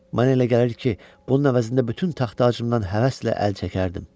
Mənə elə gəlir ki, bunun əvəzində bütün taxtacığımdan həvəslə əl çəkərdim.